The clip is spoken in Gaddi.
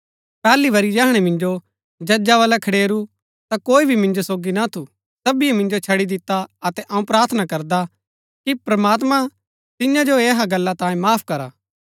पैहली बरी जैहणै मिन्जो जजा बलै खडेरू ता कोई भी मिन्जो सोगी ना थू सबीये मिन्जो छड़ी दिता अतै अऊँ प्रार्थना करदा कि प्रमात्मां तिन्या जो ऐहा गल्ला तांये माफ करा